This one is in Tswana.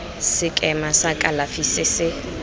sekema sa kalafi se se